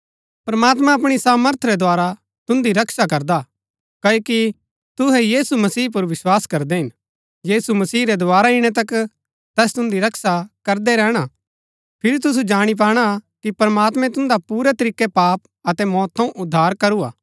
प्रमात्मां अपणी सामर्थ रै द्धारा तुन्दी रक्षा करदा हा क्ओकि तुहै यीशु मसीह पुर विस्वास करदै हिन यीशु मसीह रै दोवारा इणै तक तैस तुन्दी रक्षा करदै रैहणा फिरी तुसु जाणी पाणा कि प्रमात्मैं तुन्दा पुरै तरीकै पाप अतै मौत थऊँ उद्धार करू हा